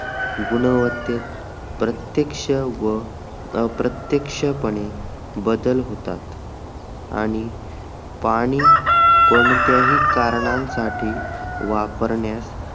गुणवत्तेत प्रत्त्यक्ष व अप्रत्त्यक्षपणे बदल होतात आणि पाणी कोणत्याही कारणांसाठी वापरण्यासाठी